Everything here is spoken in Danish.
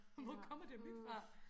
Hvor kommer de her myg fra